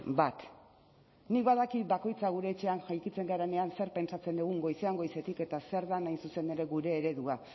bat nik badakit bakoitzak gure etxean jaikitzen garenean zer pentsatzen dugun goizean goizetik eta zer den hain zuzen ere gure eredua